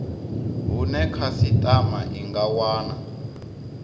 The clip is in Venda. hune khasitama i nga wana